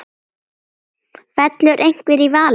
Fellur einhver í valinn?